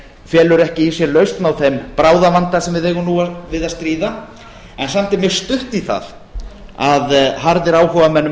felur ekki í sér lausn á þeim bráðavanda sem við eigum nú við að stríða en samt er mjög stutt í það að harðir áhugamenn um